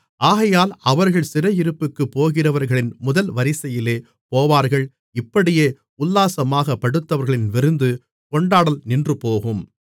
ஆகையால் அவர்கள் சிறையிருப்பிற்குப் போகிறவர்களின் முதல் வரிசையிலே போவார்கள் இப்படியே உல்லாசமாகப் படுத்தவர்களின் விருந்து கொண்டாடல் நின்றுபோகும்